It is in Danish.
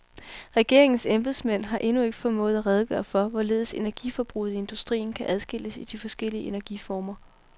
Regeringens embedsmænd har endnu ikke formået at redegøre for, hvorledes energiforbruget i industrien kan adskilles i de forskellige energiformer.